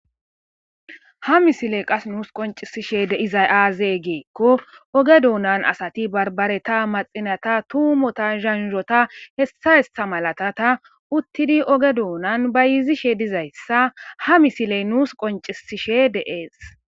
Ha misiley qas nuus qoncisishe deizay aazee geekko oge duunan asati barbareta maxinata tuumota zhanhota hessa hessa malatata uttidi oge duunan bayizishe dizayssa ha misiley nuus qoncisishe deees